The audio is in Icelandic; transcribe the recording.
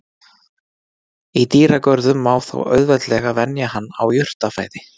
Í dýragörðum má þó auðveldlega venja hann á jurtafæði.